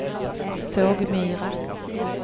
Sågmyra